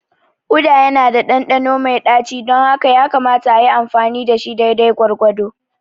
Uda yana da ɗanɗano mai ɗaci don haka yakamata a yi amfani da shi daidai gwargwado.